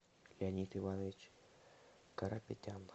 леонид иванович карапетян